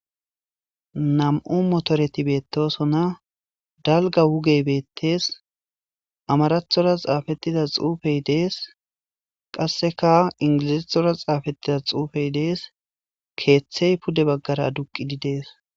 nam7u motoreti beettosona dalga wugey beettees amarathora xaafettida xuufey dees qasseka ingilizathora xaafettida xuufey dees keeththey pude baggara aduqidi dees